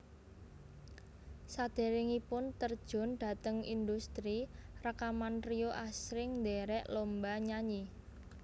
Saderengipun terjun dhateng indhustri rekaman Rio asring ndherek lomba nyanyi